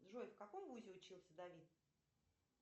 джой в каком вузе учился давид